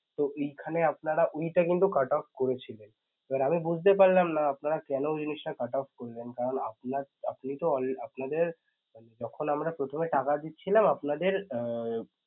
তো ওইখানে আপানারা ওইটা কিন্তু cutoff করেছিলেন এবার আমি বুঝতে পারলাম না আপনারা কেন জিনিসটা cutoff করলেন কারণ আপনার~ আপনিতো আপনাদের যখন আমরা প্রথমে টাকা দিচ্ছিলাম আপনাদের উম